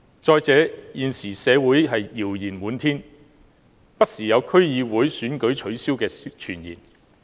再者，現時社會謠言滿天，不時有取消區議會選舉的傳言。